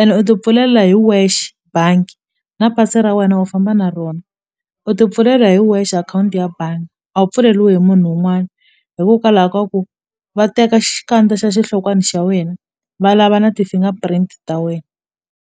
ene u tipfulela hi wexe bangi na pasi ra wena u famba na rona u tipfulela hi wexe akhawunti ya bangi a wu pfuleliwi hi munhu wun'wana hikokwalaho ka ku va teka xikandza xa xihlokwani xa wena va lava na ti-finger print ta wena.